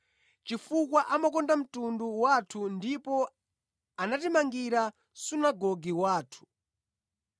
chifukwa amakonda mtundu wathu ndipo anatimangira sunagoge wathu.”